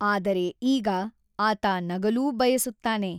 ಆದರೆ ಈಗ, ಆತ ನಗಲೂ ಬಯಸುತ್ತಾನೆ.